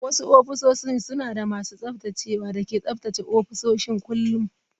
Wasu ofisoshin suna da masu tsaftacewa da ke tsaftace ofisoshin kullun.